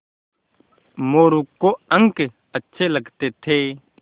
मोरू को अंक अच्छे लगते थे